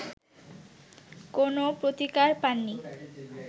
কোনো প্রতিকার পাননি